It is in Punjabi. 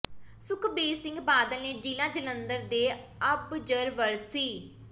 ਸੁਖਬੀਰ ਸਿੰਘ ਬਾਦਲ ਨੇ ਜਿਲਾ ਜਲੰਧਰ ਦੇ ਅਬਜਰਵਰ ਸ